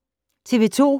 TV 2